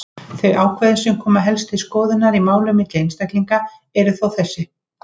Þau ákvæði sem helst koma til skoðunar í málum milli einstaklinga eru þó þessi: